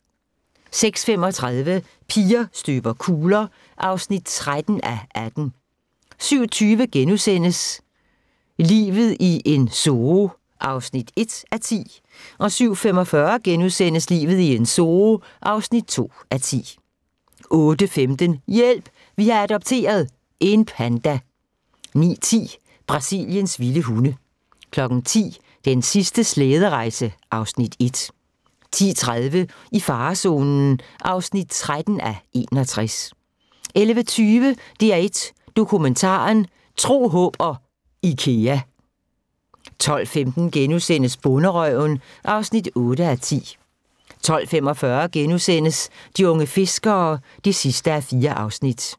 06:35: Piger støber kugler (13:18) 07:20: Livet i en zoo (1:10)* 07:45: Livet i en zoo (2:10)* 08:15: Hjælp! Vi har adopteret – en panda 09:10: Brasiliens vilde hunde 10:00: Den sidste slæderejse (Afs. 1) 10:30: I farezonen (13:61) 11:20: DR1 Dokumentaren: Tro, håb og Ikea 12:15: Bonderøven (8:10)* 12:45: De unge fiskere (4:4)*